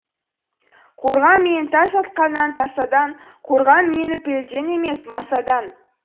қорға менітас атқаннан тасадан қорға меніпілден емес масадан